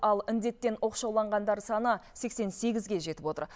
ал індеттен оқшауланғандар саны сексен сегізге жетіп отыр